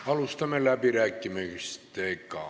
Alustame läbirääkimisi.